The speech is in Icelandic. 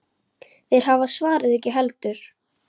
Þeir hafa svarið ekki heldur.